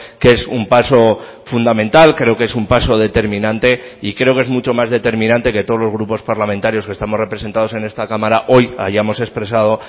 que es un paso fundamental creo que es un paso determinante y creo que es mucho más determinante que todos los grupos parlamentarios que estamos representados en esta cámara hoy hayamos expresado